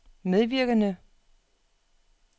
medvirkende